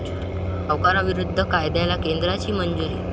सावकारीविरोधी कायद्याला केंद्राची मंजुरी